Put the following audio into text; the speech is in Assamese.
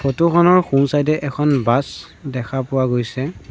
ফটো খনৰ সোঁ চাইড এ এখন বাছ দেখা পোৱা গৈছে।